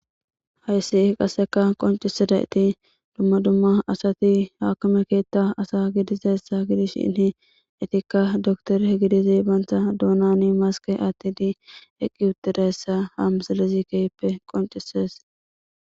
Hayssi qaseka qoncisida iti dumma dumma asati haakame keetta asa gidizessa gidishshinhi etikka doktor gidizi banta duunani maske attidi eqqi utidessa haamsalizi kehppe qoncises.